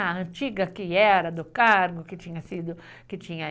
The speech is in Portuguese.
Aí a antiga, que era do cargo, que tinha sido .... Que tinha...